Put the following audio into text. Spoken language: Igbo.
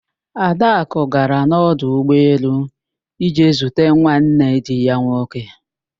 Adakụ gara n'ọdụ ụgbọelu ije zute nwanne di ya nwoke